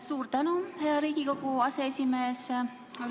Suur tänu, hea Riigikogu aseesimees!